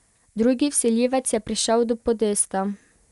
Drugi vsiljivec je prišel do podesta.